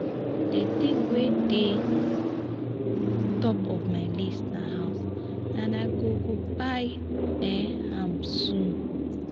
the thing wey dey top of my list na house and i go go buy um am soon